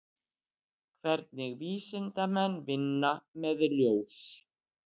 Hvernig vísindamenn vinna með ljós?